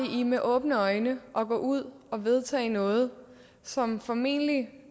i med åbne øjne at gå ud og vedtage noget som formentlig